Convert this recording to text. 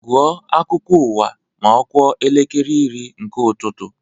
Gụọ akụkọ ụwa ma ọ kụọ elekere iri nke ụtụtụ!